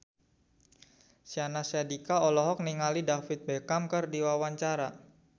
Syahnaz Sadiqah olohok ningali David Beckham keur diwawancara